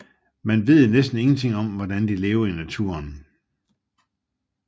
Man ved næsten ingenting om hvordan de lever i naturen